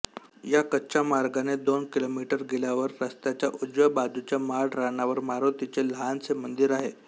या कच्च्या मार्गाने दोन किलोमिटर गेल्यावर रस्त्याच्या उजव्या बाजूच्या माळरानावर मारूतीचे लहानसे मंदिर आहे